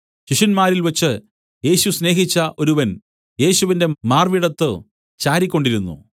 ശിഷ്യന്മാരിൽ വെച്ച് യേശു സ്നേഹിച്ച ഒരുവൻ യേശുവിന്റെ മാർവ്വിടത്തു ചാരിക്കൊണ്ടിരുന്നു